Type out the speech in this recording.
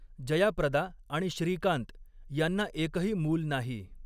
जयाप्रदा आणि श्रीकांत यांना एकही मूल नाही.